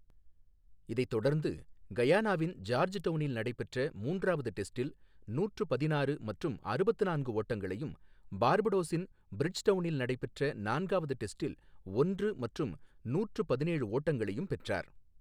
இதைத் தொடர்ந்து கயானாவின் ஜார்ஜ்டவுனில் நடைபெற்ற மூன்றாவது டெஸ்டில் நூற்று பதினாறு மற்றும் அறுபத்து நான்கு ஓட்டங்களையும், பார்படோஸின் பிரிட்ஜ்டவுனில் நடைபெற்ற நான்காவது டெஸ்டில் ஒன்று மற்றும் நூற்று பதினேழு ஓட்டங்களையும் பெற்றார்.